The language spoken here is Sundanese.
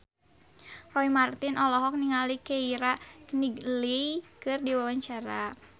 Roy Marten olohok ningali Keira Knightley keur diwawancara